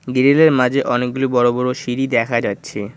Grill -এর মাঝে অনেকগুলি বড় বড় সিঁড়ি দেখা যাচ্ছে।